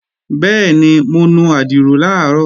Bẹ́ẹ̀ni, mo nu àdìrò làárọ̀